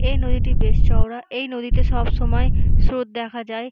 এই নদীটি বেশ চওড়া এই নদীতে সবসময় স্রোত দেখা যায়।